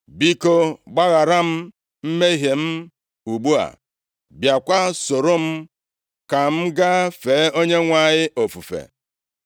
Biko, gbaghara m mmehie m ugbu a, bịakwa soro m ka m gaa fee Onyenwe anyị ofufe.”